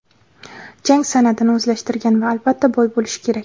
jang san’atini o‘zlashtirgan va albatta boy bo‘lishi kerak.